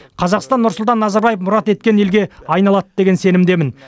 қазақстан нұрсұлтан назарбаев мұрат еткен елге айналады деген сенімдемін